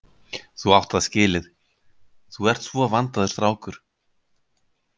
Þú átt það skilið, þú ert svo vandaður strákur.